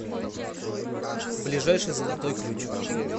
ближайший золотой ключ